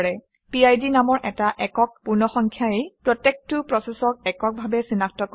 পিড নামৰ এটা একক পূৰ্ণসংখ্যাই প্ৰত্যেকটো প্ৰচেচক এককভাৱে চিনাক্ত কৰে